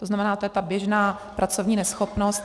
To znamená, to je ta běžná pracovní neschopnost.